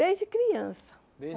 Desde criança. Desde